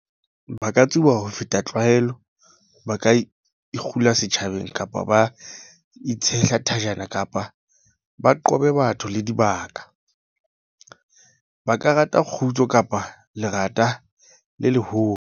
Ba ka tsuba ho feta tlwaelo, ba ka ikgula setjhabeng kapa ba itshehla thajana kapa ba qobe batho le dibaka. Ba ka rata kgutso kapa lerata le leholo.